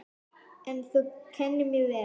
En þú kenndir mér vel.